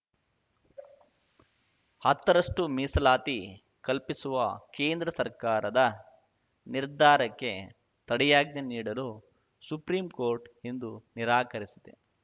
ಹತ್ತ ರಷ್ಟು ಮೀಸಲಾತಿ ಕಲ್ಪಿಸುವ ಕೇಂದ್ರ ಸರ್ಕಾರದ ನಿರ್ಧಾರಕ್ಕೆ ತಡೆಯಾಜ್ಞೆ ನೀಡಲು ಸುಪ್ರೀಂ ಕೋರ್ಟ್ ಇಂದು ನಿರಾಕರಿಸಿದೆ